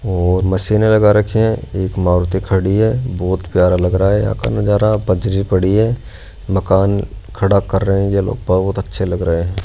और मशीने लगा रखे है एक मारुति खड़ी है बहोत प्यारा लग रहा है यहां का नजारा बजरी पड़ी है मकान खड़ा कर रहें ये लोग बहुत अच्छे लग रहे है।